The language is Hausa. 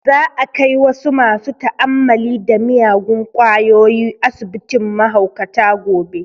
Za a kai wasu masu ta'ammali da miyagun kwayoyi asibitin mahaukata gobe